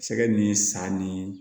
Sɛgɛ ni san ni